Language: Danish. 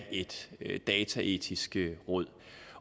et dataetisk råd